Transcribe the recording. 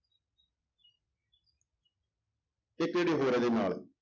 ਇੱਕ ਜਿਹੜੀ ਹੋਰ ਇਹਦੇ ਨਾਲ,